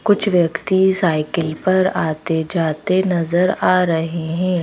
कुछ व्यक्ति साइकिल पर आते-जाते नजर आ रहे हैं।